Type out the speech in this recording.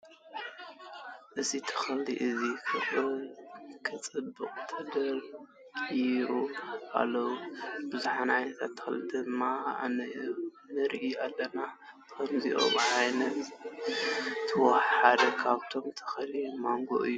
እዚ ተክሊ እዚ ክፅብቅ ተደርዲሩ ኣሎ። ቡዙሓት ዓይነታት ተክሊ ድማ ንርኢ ኣለና። ካብዚኦም ኣነ ዝፈትዎ ሓደ ካብኣቶም ተክሊ ማንጎ እዩ።